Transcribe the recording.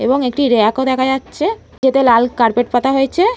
এবং একটি র‍্যাক -ও দেখা যাচ্ছে গেটে লাল কারপেট পাতা হয়েছে।